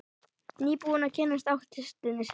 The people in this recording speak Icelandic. Nýbúinn að kynnast ástinni sinni.